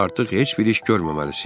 Artıq heç bir iş görməməlisiz.